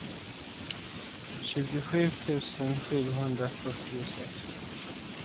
tjugosju tusen sjuhundrafyrtiosex